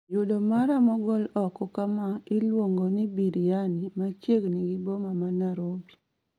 Yudo mara mogol oko kama iluongoni biriani machiegni gi boma ma narobi